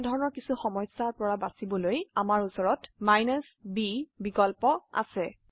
এই মতন কিছু সমস্যা বাবে আমি b বিকল্প আছে